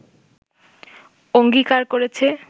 অঙ্গীকার করেছে